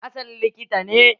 Hassan likita ne.